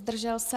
Zdržel se?